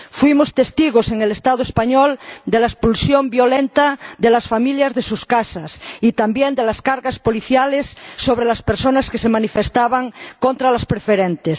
Hemos sido testigos en el Estado español de la expulsión violenta de las familias de sus casas y también de las cargas policiales sobre las personas que se manifestaban contra las preferentes.